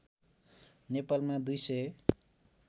नेपालमा २ सय